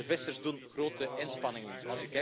De vissers doen grote inspanningen.